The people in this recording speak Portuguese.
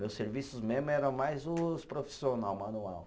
Meus serviços mesmo eram mais os profissional, manual.